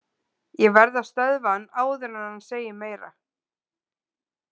Ég verð að stöðva hann áður en hann segir meira.